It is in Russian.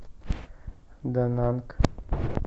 дананг